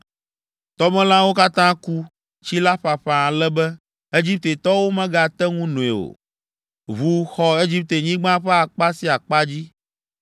Tɔmelãwo katã ku, tsi la ƒaƒã ale be, Egiptetɔwo megate ŋu noe o. Ʋu xɔ Egiptenyigba ƒe akpa sia akpa dzi.